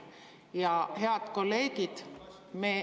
Ja, head kolleegid …